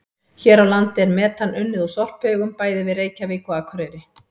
Hér á landi er metan unnið úr sorphaugum bæði við Reykjavík og Akureyri.